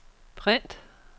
print